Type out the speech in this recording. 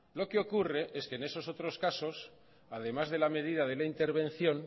lo que ocurre es que en esos otros casos además de la medida de la intervención